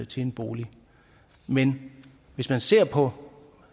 til en bolig men hvis man ser på